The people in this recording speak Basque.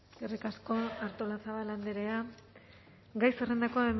eskerrik asko artolazabal andrea gai zerrendako